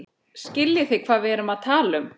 Skiljið þið hvað við erum að tala um.